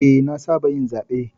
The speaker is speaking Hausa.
Eh, na saba yin zaɓe.